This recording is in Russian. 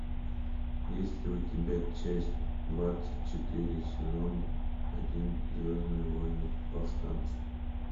есть ли у тебя часть двадцать четыре сезон один звездные войны повстанцы